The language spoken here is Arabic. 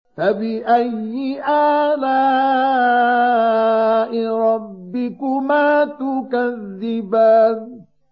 فَبِأَيِّ آلَاءِ رَبِّكُمَا تُكَذِّبَانِ